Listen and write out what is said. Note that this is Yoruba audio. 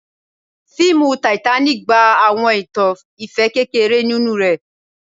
Fiimu Titanic gba awọn itan ifẹ kekere ninu rẹ